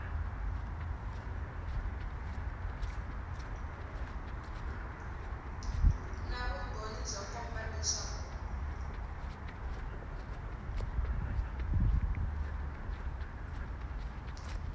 na vumbhoni byo komba leswaku